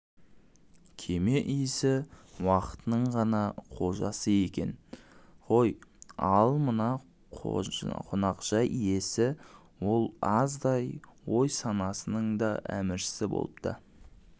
кеме иесі уақытының ғана қожасы екен ғой ал мына қонақжай иесі ол аздай ой-санасының да әміршісі болыпты